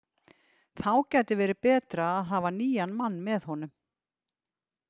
Þá gæti verið betra að hafa nýjan mann með honum.